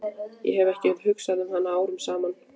Ég hef ekki hugsað um hana árum saman.